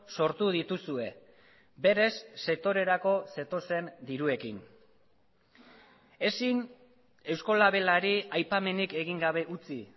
sortu dituzue berez sektorerako zetozen diruekin ezin euskolabelari aipamenik egin gabe utzi